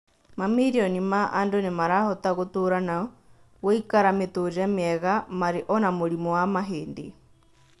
Mamirioni ma andũ nĩmarahota gũtũra na gũikara mĩtũrĩre mĩega marĩ ona mũrimũ wa mahĩndĩ